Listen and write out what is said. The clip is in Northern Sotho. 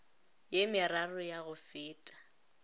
ye meraro ya go feta